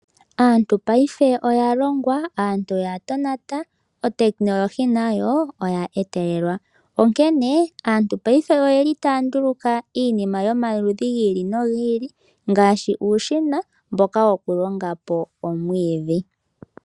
Aantu paife oya longwa, aantu oya tonata, ehumo komeho nalyo olya etelelwa, onkene aantu paife oyeli po taanduluka iinima yomaludhi gi ili nogi ili, ngaashi uushina mboka woku longapo omwiidhi.